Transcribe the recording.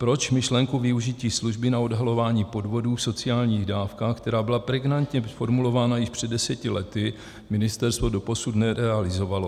Proč myšlenku využití služby na odhalování podvodů v sociálních dávkách, která byla pregnantně formulována již před deseti lety, Ministerstvo doposud nerealizovalo?